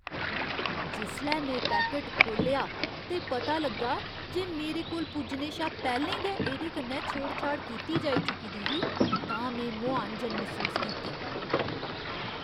जिसलै में पैकट खोह्लेआ ते पता लग्गा जे मेरे कोल पुज्जने शा पैह्लें गै एह्दे कन्नै छेड़छाड़ कीती जाई चुकी दी ही तां में मुहान जन मसूस कीती।